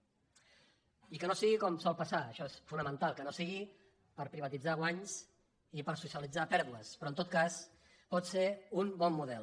i que no sigui com sol passar això és fonamental que no sigui per privatitzar guanys i per socialitzar pèrdues però en tot cas pot ser un bon model